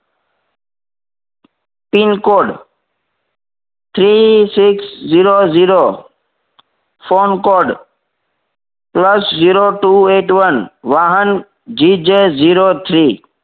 Pincode three six zero zero phone code plus zero two eight one વાહન G J zero three